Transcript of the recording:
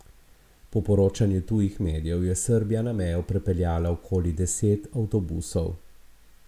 Po poročanju tujih medijev je Srbija na mejo prepeljala okoli deset avtobusov.